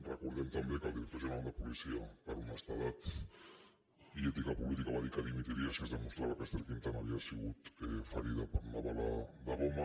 recordem també que el director general de policia per honestedat i ètica política va dir que dimitiria si es demostrava que ester quintana havia sigut ferida per una bala de goma